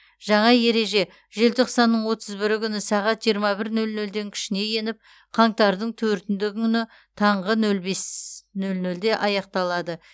жаңа ереже желтоқсанның отыз бірі күні сағат жиырма бір нөл нөлден күшіне еніп қаңтардың төртінді күні таңғы нөл бес нөл нөлде аяқталады